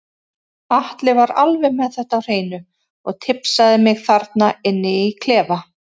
Atli var alveg með þetta á hreinu og tipsaði mig þarna inni í klefa.